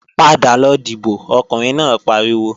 Padà lọ dìbò, Ọkùnrin náà pariwo!